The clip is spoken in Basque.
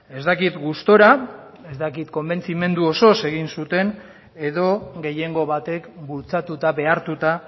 ez dakit gustura ez dakit konbentzimendu osoz egin zuten edo gehiengo batek bultzatuta behartuta